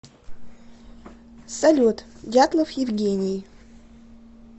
салют дятлов евгений